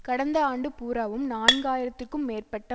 கடந்த ஆண்டு பூராவும் நான்கு ஆயிரத்திற்கும் மேற்பட்ட